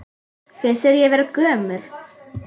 Finnst þér ég vera gömul?